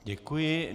Děkuji.